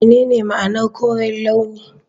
Menene ma'anar koren launi?